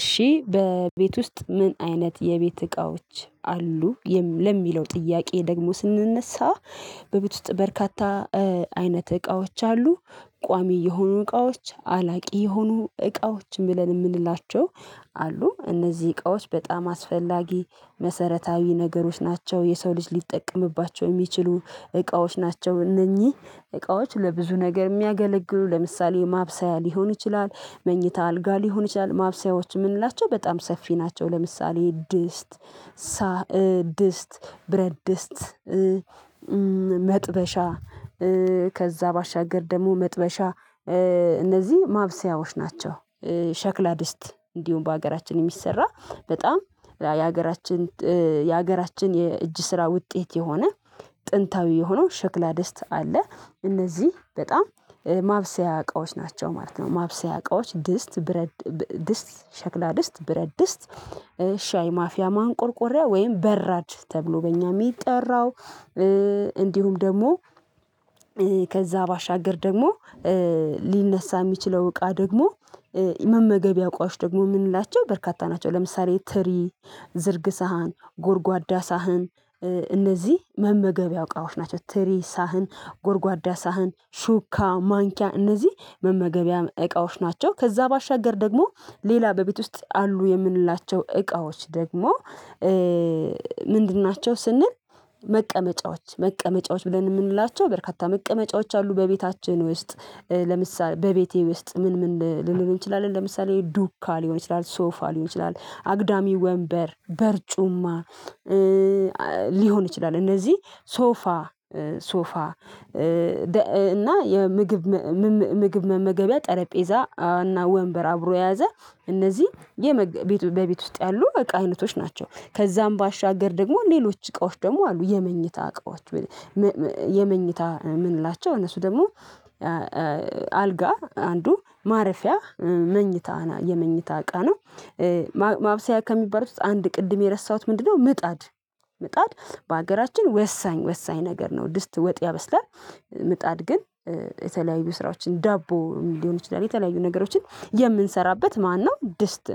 እሺ በቤት ውስጥ? ምን አይነት የቤት እቃዎች አሉ ለሚለው ጥያቄ ደግሞ ስንነሳ በቤት ውስጥ በርካታ አይነት እቃዎች አሉ። ቋሚ የሆኑ እቃዎች አላቂ የሆኑ እቃዎች ብለን የምንላቸው። አሉ እነዚህ እቃዎች በጣም አስፈላጊ መሰረታዊ ነገሮች ናቸው የሰው ልጅ ሊጠቀምባቸው የሚችሉ እቃዎች ናቸው። እነኚህ እቃዎች ለብዙ ነገር የሚያገለግሉ ለምሳሌ ማብሰያ ሊሆን ይችላል መኝታ አልጋ ሊሆን ይችላል ማብሰያዎች የምንላቸው በጣም ሰፊ ናቸው። ለምሳሌ ድስት ሳ ድስት ብረድስት መጥበሻ ከዛ ባሻገር ደግሞ መጥበሻ እነዚህ ማብሰያዎች ናቸው። ሸክላ ድስት እንዲሁም በሀገራችን የሚሰራ በጣም የሀገራችን የሀገራችን የእጅ ስራ ውጤት የሆነ ጥንታዊ የሆነው ሽክላ ደስት አለ እነዚህ በጣም ማብሰያ እቃዎች ናቸው ማለት ነው። ማብሰያ እቃዎች ድስት ብረድ ድስት ሸክላ ድስት ብረድስት ሻይ ማፊያ ማንቆርቆሪያ ወይም በራድ ተብሎ በእኛ የሚጠራው። እንዲሁም ደግሞ ከዛ ባሻገር ደግሞ ሊነሳ የሚችለው እቃ ደግሞ መመገብያ እቃወች ደግሞ የምንላቸው በርካታ ናቸው። ለምሳሌ ትሪ ዝርግ ሳህን ጎርጓዳ ሳህን እነዚህ መመገቢያ እቃወች ናቸው ትሪ ሳህን ጎርጓዳ ሳህን ሹካ ማንኪያ እነዚህ መመገቢያ እቃዎች ናቸው። ከዛ ባሻገር ደግሞ ሌላ በቤት ውስጥ አሉ የምንላቸው እቃዎች ደግሞ ምንድን ናቸው ስንል? መቀመጫዎች መቀመጫዎች ብለን የምንላቸው በርካታ መቀመጫዎች አሉ በቤታችን ውስጥ ለምሳሌ በቤቴ ውስጥ ምን ምን ልንል እንችላለን ለምሳሌ ዱካ ሊሆን ይችላል ሶፋ ሊሆን ይችላል አግዳሚ ወንበር በርጩማ ሊሆን ይችላል። እነዚህ ሶፋ ሶፋ እና የምግብ ምግብ መመገቢያ ጠረጴዛ እና ወንበር አብሮ የያዘ እነዚህ በቤት ውስጥ ያሉ እቃ አይነቶች ናቸው። ከዛም ባሻገር ደግሞ ሌሎች እቃዎች ደግሞ አሉ የመኝታ እቃዎች የመኝታ የምንላቸው እነሱ ደግሞ አልጋ አንዱ ማረፊያ መኝታ የመኝታ አቃ ነው። ማብሰያ ከሚባሉት አንድ ቅድም የረሳሁት ምንድነው? ምጣድ ምጣድ በሀገራችን ወሳኝ ወሳኝ ነገር ነው ድስት ወጥ ያበስላል። ምጣድ ግን የተለያዩ ስራዎችን ዳቦ ሊሆን ይችላል የተለያዩ ነገሮችን የምንሰራበት ማነው ድስት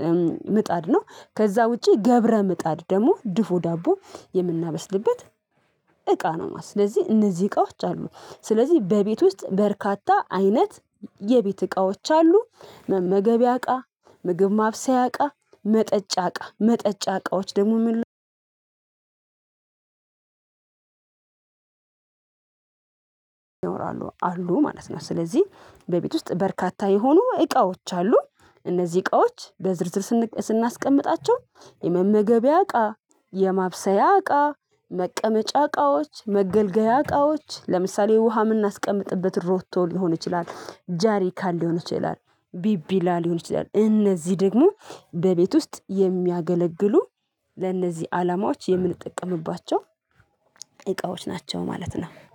ምጣድ ነው። ከዛ ውጪ ገብረ ምጣድ ደግሞ ድፉ ዳቦ የምናበስልበት እቃ ነው ማለት ነው። ስለዚህ እነዚህ እቃዎች አሉ ስለዚህ በቤት ውስጥ በርካታ አይነት የቤት እቃዎች አሉ። መመገብያ እቃ ምግብ ማብሰያ እቃ መጠጫ እቃ መጠጫ እቃዎች ደግሞ ምን ላይ ይኖራሉ አሉ ማለት ነው። ስለዚህ በቤት ውስጥ በርካታ የሆኑ እቃዎች አሉ። እነዚህ እቃዎች በዝርዝር ስን ስናስቀምጣቸው የመመገቢያ እቃ የማብሰያ እቃ መቀመጫ እቃዎች መገልገያ እቃዎች ለምሳሌ ውሃ የምናስቀምጥበት ሮቶ ሊሆን ይችላል ጃሪካን ሊሆን ይችላል ቢቢላ ሊሆን ይችላል እነዚህ ደግሞ በቤት ውስጥ የሚያገለግሉ ለእነዚህ አላማዎች የምንጠቀምባቸው እቃዎች ናቸው። ማለት ነው